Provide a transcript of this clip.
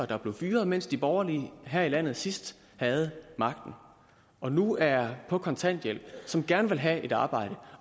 der blev fyret mens de borgerlige her i landet sidst havde magten og nu er på kontanthjælp og som gerne vil have et arbejde